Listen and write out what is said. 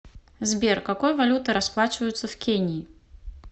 сбер какой валютой расплачиваются в кении